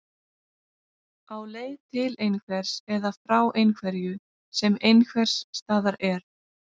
Á leið til einhvers eða frá einhverju sem einhvers staðar er.